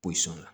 Posɔn na